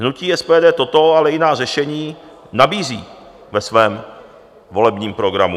Hnutí SPD toto, ale i jiná řešení nabízí ve svém volebním programu.